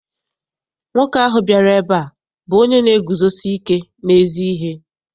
Nwoke ahụ bịara ebe a bụ onye na-eguzosike n'ezi ihe.